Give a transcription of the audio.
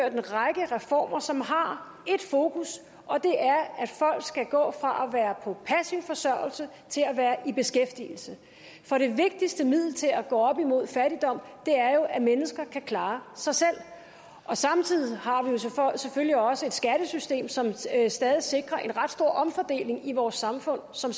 en række reformer som har ét fokus og det er at folk skal gå fra at være på passiv forsørgelse til at være i beskæftigelse for det vigtigste middel til at gå op imod fattigdom er jo at mennesker kan klare sig selv samtidig har vi selvfølgelig også et skattesystem som stadig stadig sikrer en ret stor omfordeling i vores samfund som